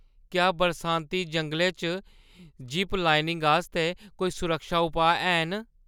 क्या बरसाती-जंगलै च ज़िप-लाइनिंग आस्तै कोई सुरक्षा उपाऽ हैन?